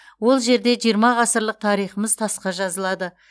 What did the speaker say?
ол жерде жиырма ғасырлық тарихымыз тасқа жазылады